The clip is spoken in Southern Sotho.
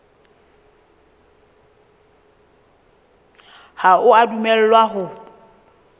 ha o a dumellwa ho